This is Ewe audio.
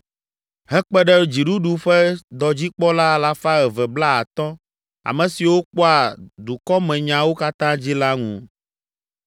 hekpe ɖe dziɖuɖu ƒe dɔdzikpɔla alafa eve blaatɔ̃, ame siwo kpɔa dukɔmenyawo katã dzi la ŋu.